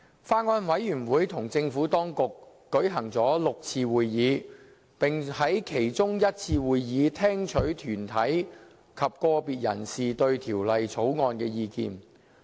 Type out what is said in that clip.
法案委員會與政府當局舉行了6次會議，並在其中一次會議，聽取團體及個別人士對《條例草案》的意見。